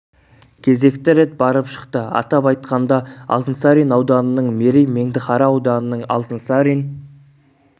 кезекті рет барып шықты атап айтқанда алтын сарин ауданының мерей меңдіқара ауданының алтынсарин